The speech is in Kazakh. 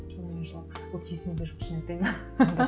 шынымен жылап вот есімде жоқ шын айтайын